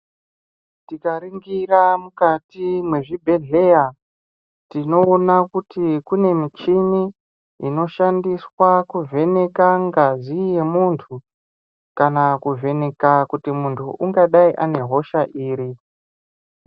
Tikaringira mukati mwezvibhedhleya tinoona kuti kune michini inoshandiswa kuvheneka ngazi yemuntu kana kuvheneka kuti muntu ungadai ane hosha iri.